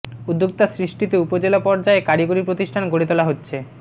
উদ্যোক্তা সৃষ্টিতে উপজেলা পর্যায়ে কারিগরি প্রতিষ্ঠান গড়ে তোলা হচ্ছে